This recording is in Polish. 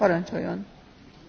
Pani Przewodnicząca!